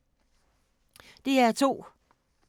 DR2